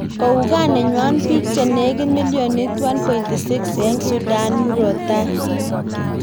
Kouu gaa nenywa biik che negit millionit 1.6 eng Sudan murotai